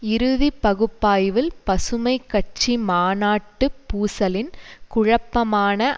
இறுதி பகுப்பாய்வில் பசுமை கட்சி மாநாட்டு பூசலின் குழப்பமான